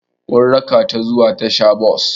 Mun raka tà zuwa tasha-bos.